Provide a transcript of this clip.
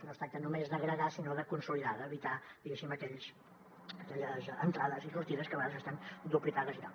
no es tracta només d’agregar sinó de consolidar d’evitar diguéssim aquelles entrades i sortides que a vegades estan duplicades i tal